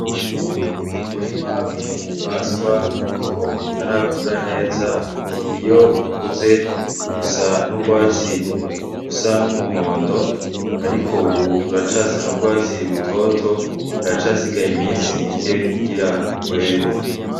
Umurima w'intumbaswa ariko utarakura neza. Iyo ukuze, usa n'urwatsi rusa n'umuhondo, ariko ubu uracasa n'urwatsi rutoto. Haracasigaye iminsi mike kugira were.